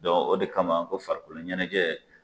Dɔ o de kama ko farikolo ɲɛnajɛ